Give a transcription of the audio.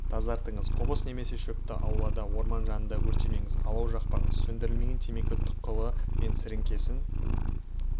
тазартыңыз қоқыс немесе шөпті аулада орман жанында өртемеңіз алау жақпаңыз сөндірілмеген темекі тұқылы мен сіріңкені